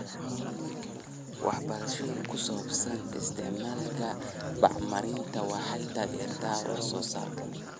Waxbarashada ku saabsan isticmaalka bacriminta waxay taageertaa wax soo saarka.